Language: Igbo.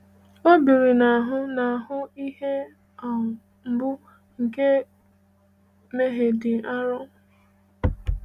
O biri n’ahụ n’ahụ ihe um mgbu nke mmehie dị arọ.